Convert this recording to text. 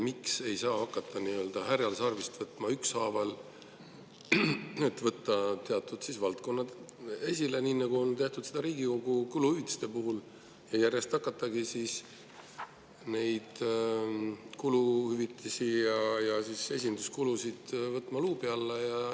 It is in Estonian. Miks ei saa härjal sarvist haarata nii, et ükshaaval võtta ette teatud valdkonnad, nii nagu seda on tehtud Riigikogu kuluhüvitiste puhul, ja hakatagi neid kuluhüvitisi ja esinduskulusid järjest luubi alla võtma?